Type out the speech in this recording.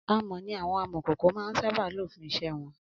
Amọ̀ ni àwọn Amọ̀kòkò máa ń sábà lò fún iṣẹ́ wọn